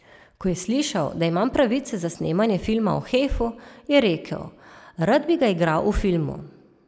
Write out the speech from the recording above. Ko je slišal, da imam pravice za snemanje filma o Hefu, je rekel: 'Rad bi ga igral v filmu.